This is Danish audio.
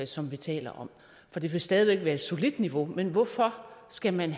som vi taler om for der vil stadig væk være et solidt niveau men hvorfor skal man